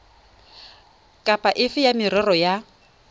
kapa efe ya merero ya